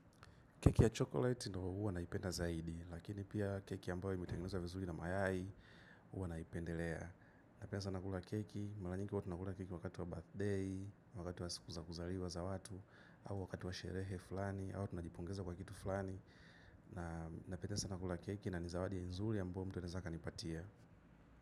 Keki ya chocolate ndio huwa naipenda zaidi, lakini pia keki ambayo imetengenezwa vizuli na mayai, huwa naipendelea. Napena sana kula keki, malanyingi huwa tunakula keki wakati wa birthday, wakati wa sikuza kuzariwa za watu, au wakati wa sherehe fulani, au tuna jipongeza kwa kitu fulani. Napenda sana kula keki na nizawadi nzuli ambyo mtu anaeza akanipatia.